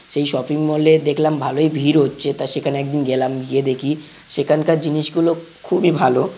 সেই shopping mall -এ দেখলাম ভালোই ভিড় হচ্ছে। তা সেখানে একদিন গেলাম। গিয়ে দেখি সেখানকার জিনিস গুলো খুবই ভালো।